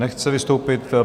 Nechce vystoupit.